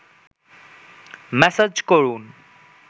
massage করুন